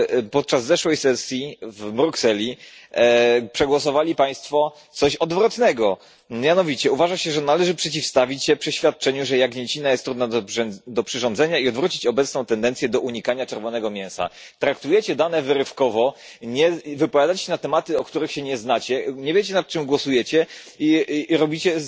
Podczas zeszłej sesji w Brukseli przegłosowali Państwo coś odwrotnego. Mianowicie uważa się, że należy przeciwstawić się przeświadczeniu, że jagnięcina jest trudna do przyrządzenia i odwrócić obecną tendencję do unikania czerwonego mięsa. Traktujecie dane wyrywkowo, wypowiadacie się na tematy, na których się nie znacie, nie wiecie nad czym głosujecie i robicie